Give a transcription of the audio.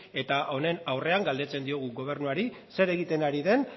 eta honen aurrean galdetzen diogu gobernuari zer egiten ari den